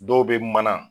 Dɔw bɛ mana